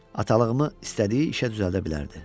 Atalığımı istədiyi işə düzəldə bilərdi.